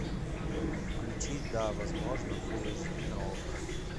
включи да возможно фул эйч ди на окко